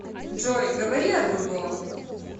джой говори о другом